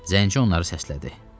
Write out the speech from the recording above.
Zənci onları səslədi.